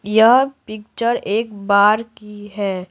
यह पिक्चर एक बार की है।